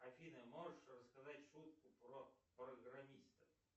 афина можешь рассказать шутку про программиста